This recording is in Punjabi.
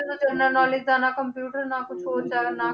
ਉਹਨਾਂ ਨਾਲ ਹੀ computer ਨਾ ਕੁਛ ਹੋਰ ਕਰਨਾ